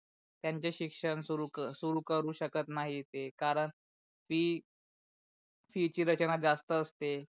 त्यांचे शिक्षण सुरू सुरू करू शकत नाही ते कारण फी फी ची रचना जास्त असते.